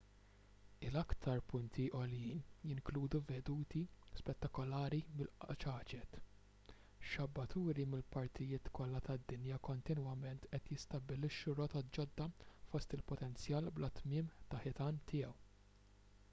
il-aktar punti għoljin jinkludu veduti spettakolari mill-qċaċet xabbaturi mill-partijiet kollha tad-dinja kontinwament qed jistabbilixxu rotot ġodda fost il-potenzjal bla tmiem ta' ħitan tiegħu